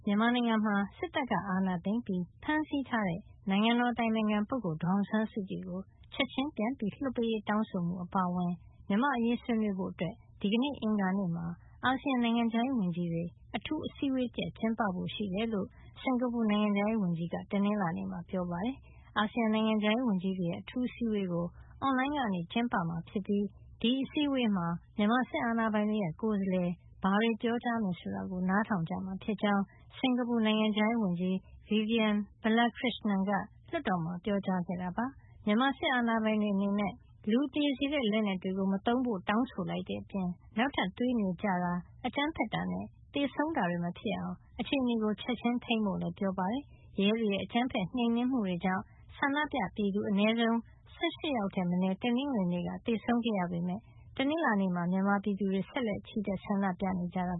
ြန်မာနိုင်ငံမှာ စစ်တပ်ကအာဏာသိမ်းပြီး ဖမ်းဆီးထားတဲ့ နိုင်ငံတော်အတိုင်ပင်ခံပုဂ္ဂိုလ် ဒေါ်အောင်ဆန်းစုကြည်ကို ချက်ချင်းပြန်လွှတ်ပေးရေးတောင်းဆိုမှု အပါအဝင် မြန်မာ့အရေး ဆွေးနွေးဖို့ ဒီကနေ့ အင်္ဂါနေ့မှာ အာဆီယံ နိုင်ငံခြားရေးဝန်ကြီးတွေ အထူးအစည်းဝေးတရပ် ကျင်းပဖို့ရှိကြောင်း စင်္ကာပူနိုင်ငံခြားရေးဝန်ကြီးက တနင်္လာနေ့မှာ ပြောပါတယ်။ အာဆီယံနိုင်ငံခြားရေးဝန်ကြီးတွေရဲ့ အထူးအစည်းဝေးကို အွန်လိုင်းကနေ ကျင်းပမှာ ဖြစ်ပြီး ဒီအစည်းဝေးမှာ မြန်မာစစ်အာဏာပိုင်တွေရဲ့ ကိုယ်စားလှယ် ဘာတွေပြောကြားမယ် ဆိုတာကို နားထောင်ကြမှာ ဖြစ်ကြောင်း စင်္ကာပူနိုင်ငံခြားရေးဝန်ကြီး Vivian Balakrishnan က လွှတ်တော်မှာ ပြောပါတယ်။ မြန်မာစစ်အာဏာပိုင်တွေအနေနဲ့ လူသေစေတဲ့ လက်နက်တွေမသုံးဖို့ တောင်းဆိုလိုက်တဲ့အပြင် နောက်ထပ်သွေးမြေကျတာ၊ အကြမ်းဖက်တာနဲ့ သေဆုံးတာတွေ မဖြစ်အောင် အခြေနေကို ချက်ချင်းထိန်းဖို့လည်း ပြောပါတယ်။ ရဲတွေရဲ့အကြမ်းဖက်နှိမ်နင်းမှုတွေကြောင့် ဆန္ဒပြသူ အနည်းဆုံး ၁၈ ယောက်ထက်မနည်း တနင်္ဂနွေနေ့ကသေဆုံးခဲ့ရပေမယ့် တနင်္လာနေ့မှာလည်း မြန်မာပြည်သူတွေက ဆက်လက် ချီတက် ဆန္ဒပြနေကြတာ